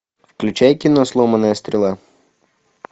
включай кино сломанная стрела